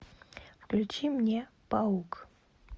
включи мне паук